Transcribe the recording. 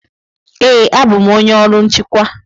Ee, abụ m onye ọrụ nchịkwa.